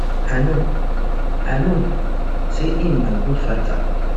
i know i know say im na good fighter